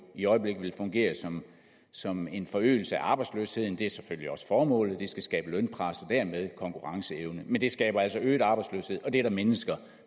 i øjeblikket vel fungerer som som en forøgelse af arbejdsløsheden og det er selvfølgelig også formålet det skal skabe lønpres og dermed konkurrenceevne men det skaber altså øget arbejdsløshed og det er der mennesker